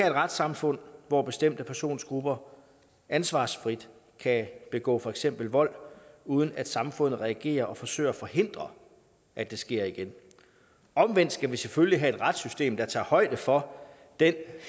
retssamfund hvor bestemte persongrupper ansvarsfrit kan begå for eksempel vold uden at samfundet reagerer og forsøger at forhindre at det sker igen omvendt skal vi selvfølgelig have et retssystem der tager højde for den